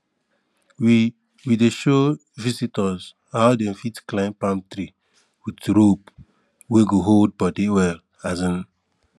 we we dey show visitors how dem fit climb palm tree with rope wey go hold body well um